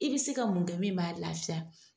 I bɛ se ka mun kɛ min b'a lafiya.